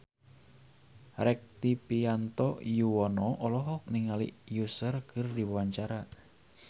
Rektivianto Yoewono olohok ningali Usher keur diwawancara